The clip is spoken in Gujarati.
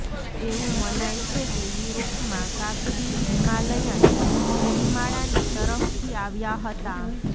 એવું મનાય છે કે યુરોપમાં કાકડી હિમાલયન ગિરિમાળાની તરફથી આવ્યા હતા